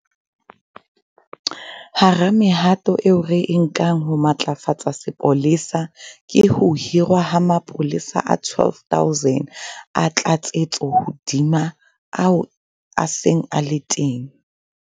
Hara mehato eo re e nkang ho matlafatsa sepolesa ke ho hirwa ha mapolesa a 12 000 a tlatsetso hodima a seng a le teng.